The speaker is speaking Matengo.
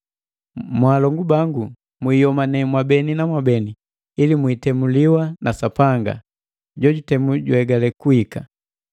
Mwaalongu bangu, mwiiyomane mwabeni na mwabeni ili mwiitemuliwa na Sapanga. Jojutemu juegale kuhika.